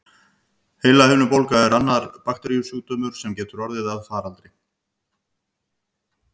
Heilahimnubólga er annar bakteríusjúkdómur, sem getur orðið að faraldri.